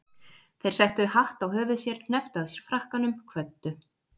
Þeir settu hatt á höfuð sér, hnepptu að sér frakkanum, kvöddu.